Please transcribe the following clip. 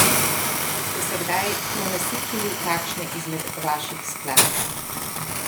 Ste se kdaj prenasičili kakšne izmed vaših skladb?